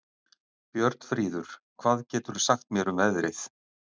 Björnfríður, hvað geturðu sagt mér um veðrið?